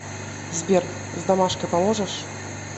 сбер с домашкой поможешь